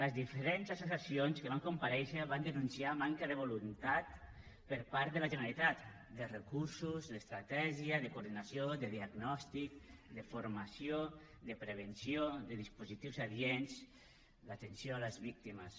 les diferents associacions que van comparèixer van denunciar manca de voluntat per part de la generalitat de recursos d’estratègia de coordinació de diagnòstic de formació de prevenció de dispositius adients d’atenció a les víctimes